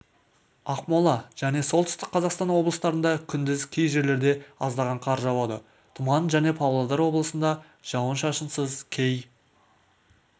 ақмолажәне солтүстік қазақстан облыстарында күндіз кей жерлреде аздаған қар жауады тұман және павлодар облысында жауын-шашынсыз кей